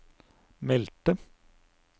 meldte